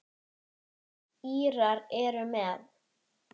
Írar eru með.